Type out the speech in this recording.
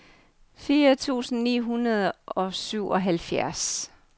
fire tusind ni hundrede og syvoghalvfjerds